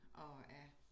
Og er